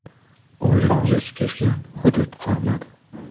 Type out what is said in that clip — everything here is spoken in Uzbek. O‘lim yuz bermagan hudud qolmadi.